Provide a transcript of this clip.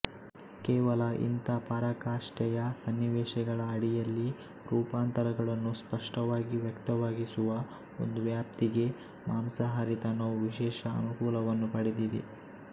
ಕೇವಲ ಇಂಥ ಪರಾಕಾಷ್ಠೆಯ ಸನ್ನಿವೇಶಗಳ ಅಡಿಯಲ್ಲಿ ರೂಪಾಂತರಗಳನ್ನು ಸ್ಪಷ್ಟವಾಗಿ ವ್ಯಕ್ತವಾಗಿಸುವ ಒಂದು ವ್ಯಾಪ್ತಿಗೆ ಮಾಂಸಹಾರಿತನವು ವಿಶೇಷ ಅನುಕೂಲವನ್ನು ಪಡೆದಿದೆ